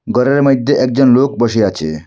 ঘরের মইধ্যে একজন লোক বসে আছে।